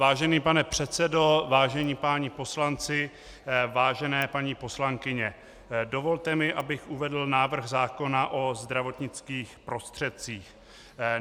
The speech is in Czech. Vážený pane předsedo, vážení páni poslanci, vážené paní poslankyně, dovolte mi, abych uvedl návrh zákona o zdravotnických prostředcích.